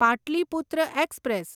Pataliputra express